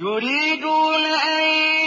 يُرِيدُونَ أَن